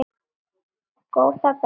Góða besta!